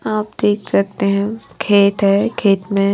आप देख सकते हैं खेत है खेत में--